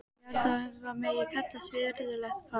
Ég held að þetta megi kallast virðulegt fas.